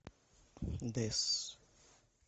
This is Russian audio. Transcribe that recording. дэс